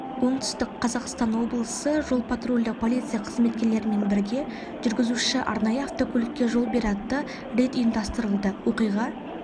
оңтүстік қазақстан облысы жол-патрульдік полиция қызметкерлерімен бірге жүргізуші арнайы автокөлікке жол бер атты рейд ұйымдастырылды оқиға